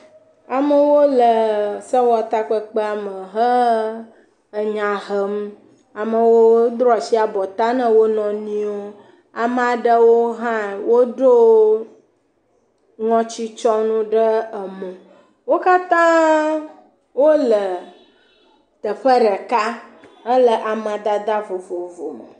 Amewo le sewɔtakpekpeawo me enya hem, amewo ɖo asi abɔta na wonɔnuiwo, ame aɖewo hã woɖo ŋɔtitsɔnu ɖe mo. Wo katã wole teƒe ɖeka hele amadede vovovo me.